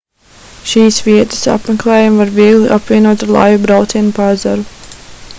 šīs vietas apmeklējumu var viegli apvienot ar laivu braucienu pa ezeru